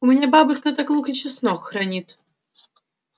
у меня бабушка так лук и чеснок хранит